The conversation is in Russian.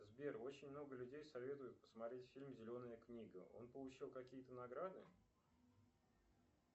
сбер очень много людей советуют посмотреть фильм зеленая книга он получил какие то награды